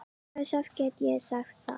Hversu oft get ég sagt það?